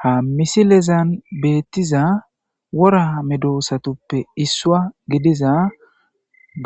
Ha misilezan beeththiza woraa medoosaththuppe issouwaa gidiza